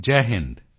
Jai Hind